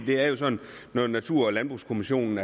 det er jo sådan at når natur og landbrugskommissionen